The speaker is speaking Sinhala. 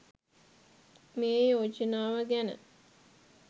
මේ යෝජනාව ගැන.